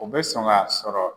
O be sɔn ka sɔrɔ